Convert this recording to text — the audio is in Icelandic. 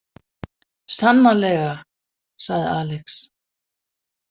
Sannarlega, sagði Alex.